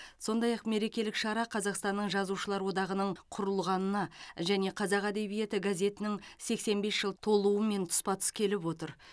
сондай ақ мерекелік шара қазақстанның жазушылар одағының құрылғанына және қазақ әдебиеті газетінің сексен бес жыл толуымен тұспа тұс келіп отыр